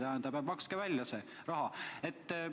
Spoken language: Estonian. Tähendab, makske see raha välja!